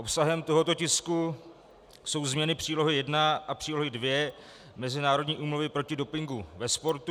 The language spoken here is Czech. Obsahem tohoto tisku jsou změny Přílohy I a Přílohy II Mezinárodní úmluvy proti dopingu ve sportu.